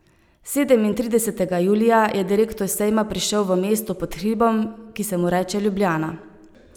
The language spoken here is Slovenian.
Sedemintridesetega julija je direktor sejma prišel v mesto pod hribom, ki se mu reče Ljubljana.